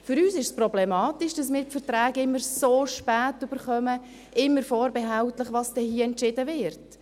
Für uns ist es problematisch, dass wir die Verträge immer so spät erhalten, immer vorbehältlich dessen, was hier dann entschieden wird.